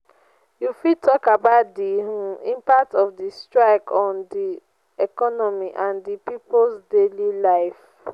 you fit talk about di um impact of di strike on di economy and di people's daily lives.